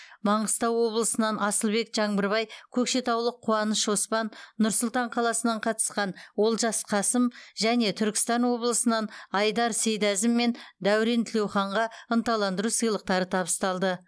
маңғыстау облысынан асылбек жаңбырбай көкшетаулық қуаныш оспан нұр сұлтан қаласынан қатысқан олжас қасым және түркістан облысынан айдар сейдәзім мен дәурен тілеуханға ынталандыру сыйлықтары табысталды